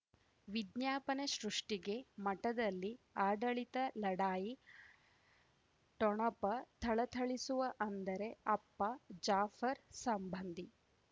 ವಿಜ್ಞಾಪನೆ ಸೃಷ್ಟಿಗೆ ಮಠದಲ್ಲಿ ಆಡಳಿತ ಲಢಾಯಿ ಠೊಣಪ ಥಳಥಳಿಸುವ ಅಂದರೆ ಅಪ್ಪ ಜಾಫರ್ ಸಂಬಂಧಿ